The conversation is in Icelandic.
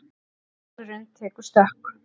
Dalurinn tekur stökk